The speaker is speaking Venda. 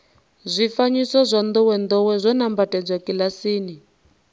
zwifanyiso zwa ndowendowe zwo nambatsedzwa kilasini